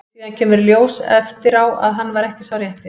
Síðan kemur í ljós eftir á að hann var ekki sá rétti.